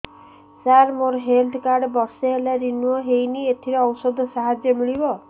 ସାର ମୋର health card ବର୍ଷେ ହେଲା ରିନିଓ ହେଇନି ଏଥିରେ ଔଷଧ ସାହାଯ୍ୟ ମିଳିବ